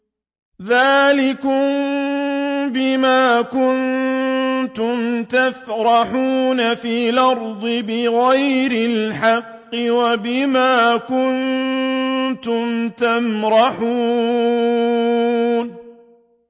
ذَٰلِكُم بِمَا كُنتُمْ تَفْرَحُونَ فِي الْأَرْضِ بِغَيْرِ الْحَقِّ وَبِمَا كُنتُمْ تَمْرَحُونَ